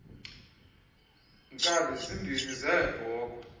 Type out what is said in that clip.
nkabi zimbini zeebhokhwe